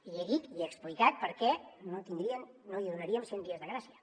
i he dit i he explicat per què no tindrien no li donaríem cent dies de gràcia